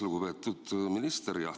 Lugupeetud minister!